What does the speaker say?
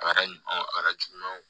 A kɛra ɲɔn ye a kɛra jugumanw